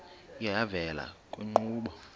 iye yavela kwiinkqubo